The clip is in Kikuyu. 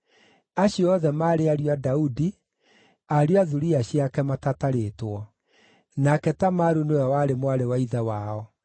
Acio othe maarĩ ariũ a Daudi, ariũ a thuriya ciake matatarĩtwo. Nake Tamaru nĩwe warĩ mwarĩ wa ithe wao.